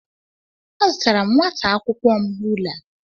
Azụtara nwata akwụkwọ m rula.